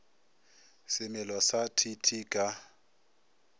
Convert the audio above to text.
semelo sa t t ka